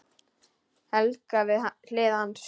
Helga við hlið hans.